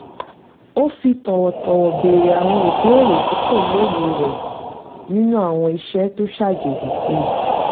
ó fi tọ̀wọ̀tọ̀wọ̀ béèrè àwọn ìbéèrè tí kò lóye rẹ̀ nínú àwọn ìṣe tó ṣàjèjì sí i